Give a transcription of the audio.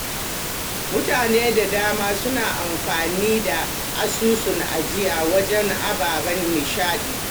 Mutane da dama suna amfani da asusun ajiya wajen ababen nishaɗi.